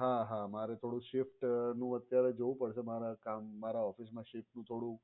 હા હા મારે થોડું shift નું અત્યારે જોવું પડશે મારા કામ મારા office મા શિફ્ટનું થોડું